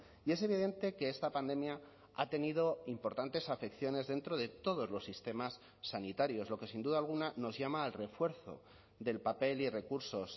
y es evidente que esta pandemia ha tenido importantes afecciones dentro de todos los sistemas sanitarios lo que sin duda alguna nos llama al refuerzo del papel y recursos